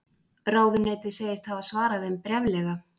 Ráðuneytið segist hafa svarað þeim bréflega